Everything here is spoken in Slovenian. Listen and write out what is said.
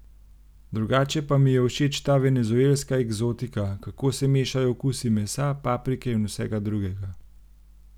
Drugače pa mi je všeč ta venezuelska eksotika, kako se mešajo okusi mesa, paprike in vsega drugega.